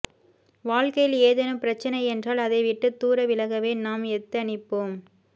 வாழ்க்கையில் ஏதேனும் பிரச்னை என்றால் அதை விட்டுத் தூர விலகவே நாம் எத்தனிப்போம்